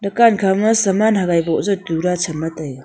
dukaan khama saman hagai buh ja tu rao taiga.